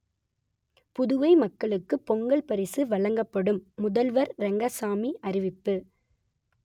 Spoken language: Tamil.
புதுவை மக்களுக்கு பொங்கல் பரிசு வழங்கப்படும் முதல்வர் ரெங்கசாமி அறிவிப்பு